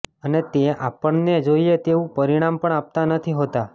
અને તે આપણ ને જોઈએ તેવું પરિણામ પણ આપતા નથી હોતા